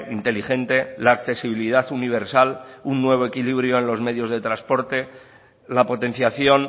inteligente la accesibilidad universal un nuevo equilibrio en los medios de transporte la potenciación